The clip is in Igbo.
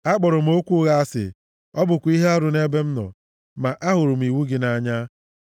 Akpọrọ m okwu ụgha asị, ọ bụkwa ihe arụ nʼebe m nọ, ma ahụrụ m iwu gị nʼanya.